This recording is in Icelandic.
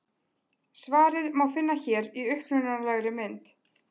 Svarið má finna hér í upprunalegri mynd.